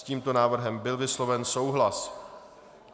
S tímto návrhem byl vysloven souhlas.